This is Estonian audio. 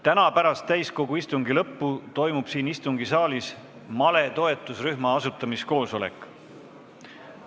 Täna pärast täiskogu istungi lõppu toimub siin istungisaalis male toetusrühma asutamise koosolek.